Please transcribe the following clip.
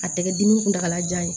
A tɛ kɛ dimi kuntagalajan ye